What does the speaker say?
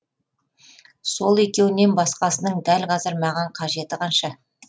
сол екеуінен басқасының дәл қазір маған қажеті қанша